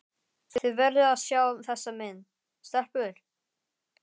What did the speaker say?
Þið verðið að sjá þessa mynd, stelpur!